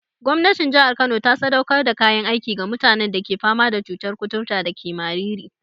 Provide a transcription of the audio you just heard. Gwamnatin jihar Kano ta sadaukar da kayan aiki ga mutanen da ke fama da cutar kuturta dake Mariri.